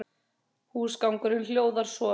Húsgangurinn hljóðar svo